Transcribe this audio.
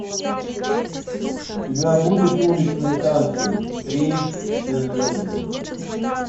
у тебя будет уличные танцы три все звезды